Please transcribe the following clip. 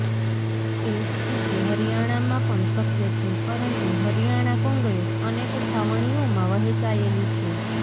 એ સ્થિતિ હરિયાણામાં પણ શક્ય છે પરંતુ હરિયાણા કોંગ્રેસ અનેક છાવણીઓમાં વહેંચાયેલી છે